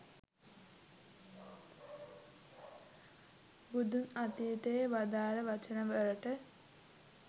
බුදුන් අතීතයේ වදාල වචන වලට